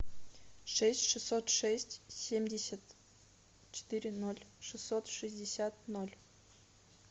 шесть шестьсот шесть семьдесят четыре ноль шестьсот шестьдесят ноль